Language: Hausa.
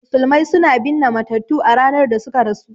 Musulmai suna binne matattu a ranar da suka rasu